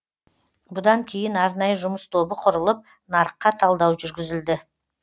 бұдан кейін арнайы жұмыс тобы құрылып нарыққа талдау жүргізілді